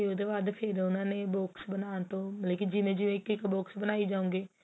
ਤੇ ਉਹਦੇ ਬਾਅਦ ਫ਼ੇਰ ਉਹਨਾ ਨੇ box ਬਨਾਣ ਤੋ ਲੇਕਿਨ ਜਿਵੇ ਜਿਵੇਂ ਇੱਕ box ਬਣਾਈ ਜਾਵੋਗੇ